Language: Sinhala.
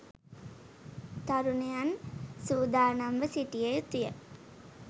තරුණයන් සූදානම්ව සිටිය යුතුය.